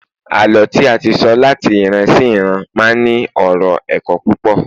àlọ tí a ti so lat ìran sí iran ma n ní ọrọ ẹkọ púpò